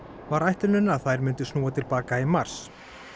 var ætlunin að þær myndu snúa til baka í mars